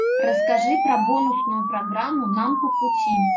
расскажи про бонусную программу нам по пути